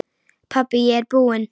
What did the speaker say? Pabbi ég er búinn!